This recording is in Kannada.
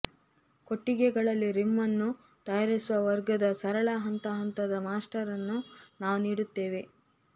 ಕೊಟ್ಟಿಗೆಗಳಲ್ಲಿ ರಿಮ್ ಅನ್ನು ತಯಾರಿಸುವ ವರ್ಗದ ಸರಳ ಹಂತ ಹಂತದ ಮಾಸ್ಟರ್ ಅನ್ನು ನಾವು ನೀಡುತ್ತೇವೆ